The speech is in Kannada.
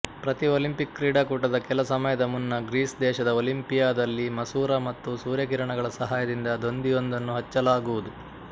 ಪ್ರತಿ ಒಲಿಂಪಿಕ್ ಕ್ರೀಡಾಕೂಟದ ಕೆಲ ಸಮಯದ ಮುನ್ನ ಗ್ರೀಸ್ ದೇಶದ ಒಲಿಂಪಿಯಾದಲ್ಲಿ ಮಸೂರ ಮತ್ತು ಸೂರ್ಯಕಿರಣಗಳ ಸಹಾಯದಿಂದ ದೊಂದಿಯೊಂದನ್ನು ಹಚ್ಚಲಾಗುವುದು